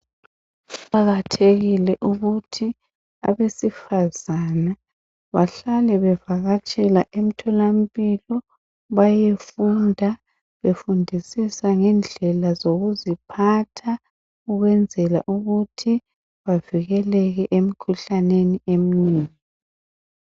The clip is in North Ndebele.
kuqakathekile ukuthi abesifazana bahlale bevakatshela emtholampilo mpilo beyefunda befundisisa ngendlela zokuziphatha ukwenzela ukuthi bavikeleke emkhuhlaneni emnengi.